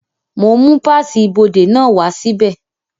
Mo ń mú páàsì ibodè náà wá sí bẹ̀